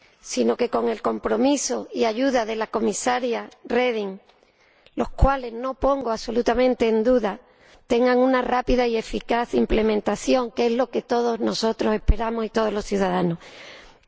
sino que, con el compromiso y ayuda de la Comisaria Reding, los cuales no pongo absolutamente en duda, tenga una rápida y eficaz implementación, que es lo que todos nosotros y todos los ciudadanos esperamos.